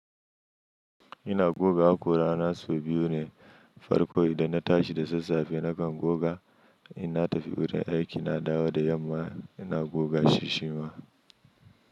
Ina goga hakora na so biyu ne farko idan na tashi da sassafe, nakan goga ina tafi wurin aiki na dawo da yamma ina goga shi shima.